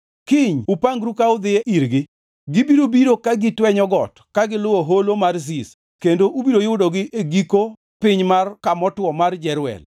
Kiny upangru ka udhi irgi. Gibiro biro ka gitwenyo got ka giluwo Holo mar Ziz kendo ubiro yudogi e giko piny mar kamotuo mar Jeruel.